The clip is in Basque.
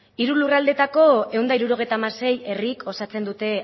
hiru lurraldeetako ehun eta hirurogeita hamazazpi herrik osatzen dute